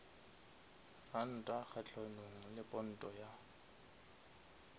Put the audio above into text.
ranta kgahlanong le ponto ya